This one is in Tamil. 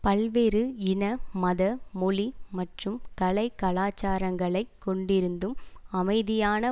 பல்வேறு இன மத மொழி மற்றும் கலை கலாசாரங்களை கொண்டிருந்தும் அமைதியான